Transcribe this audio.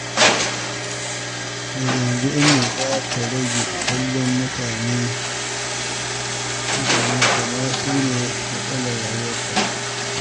Daga yanzu, Ummi za ta rage kallon mutane kamar su ne matsalar rayuwarta.